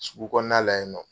Sugu kɔnɔna la yen nɔ.